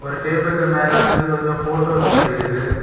ஒரு டேபிளுக்கு மேல வந்து கொஞ்சம் போட்டோஸ் மாறிருக்கு.